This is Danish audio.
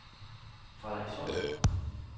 Frederikssund